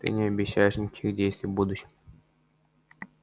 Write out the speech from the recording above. ты не обещаешь никаких действий в будущем